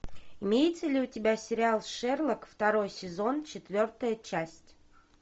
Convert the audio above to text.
имеется ли у тебя сериал шерлок второй сезон четвертая часть